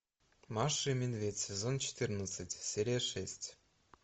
маша и медведь сезон четырнадцать серия шесть